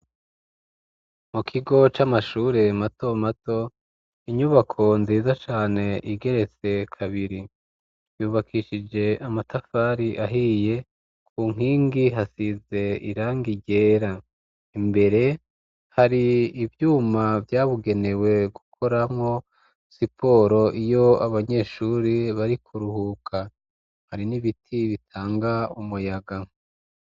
mu kigo c'amashure mato mato inyubako nziza cane igeretse kabiri yubakishije amatafari ahiye ku nkingi hasize iranga igera imbere hari ibyuma byabugenewe gukoramo siporo iyo abanyeshuri bari kuruhuka hari n'ibiti bitanga umuyaga